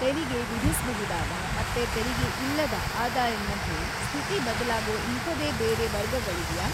ತೆರಿಗೆ ವಿಧಿಸ್ಬಹುದಾದ ಮತ್ತೆ ತೆರಿಗೆ ಇಲ್ಲದ ಆದಾಯದ್‌ ಮಧ್ಯೆ ಸ್ಥಿತಿ ಬದಲಾಗೋ ಇಂಥದೇ ಬೇರೆ ವರ್ಗಗಳಿವ್ಯಾ?